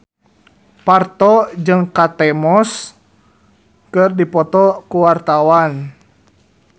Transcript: Parto jeung Kate Moss keur dipoto ku wartawan